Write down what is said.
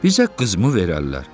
Bizə qızmı verərlər?"